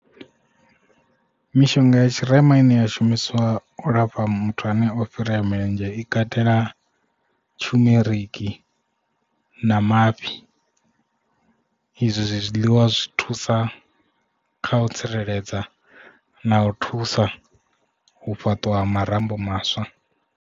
Mishonga ya tshirema ine ya shumiswa u lafha muthu ane o fhirea milenzhe i katela tshumeriki na mafhi izwo zwi zwiḽiwa zwi thusa kha u tsireledza na u thusa u fhaṱwa ha marambo maswa.